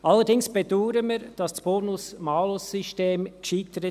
Allerdings bedauern wir, dass das Bonus-Malus-System scheiterte.